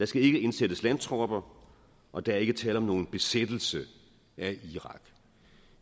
skal ikke indsættes landtropper og der er ikke tale om nogen besættelse af irak